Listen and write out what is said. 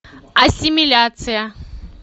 ассимиляция